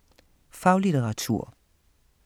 Faglitteratur